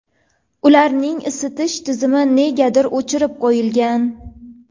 Ularni isitish tizimi negadir o‘chirib qo‘yilgan.